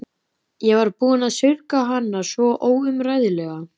Ég var búin að saurga hana svo óumræðilega.